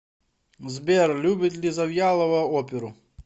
сбер любит ли завьялова оперу